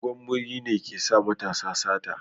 Dogon muri ne ke sa matasa sata